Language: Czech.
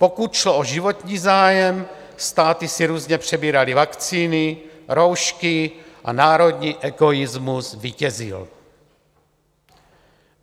Pokud šlo o životní zájem, státy si různě přebíraly vakcíny, roušky a národní egoismus vítězil.